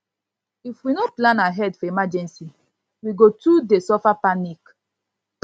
if we no plan ahead for emergency we go too dey suffer panic